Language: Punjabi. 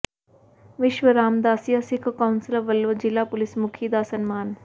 ਵਿਸ਼ਵ ਰਾਮਦਾਸੀਆ ਸਿੱਖ ਕੌਾਸਲ ਵੱਲੋਂ ਜ਼ਿਲ੍ਹਾ ਪੁਲਿਸ ਮੁਖੀ ਦਾ ਸਨਮਾਨ